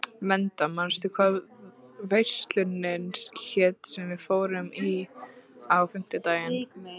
Meda, manstu hvað verslunin hét sem við fórum í á fimmtudaginn?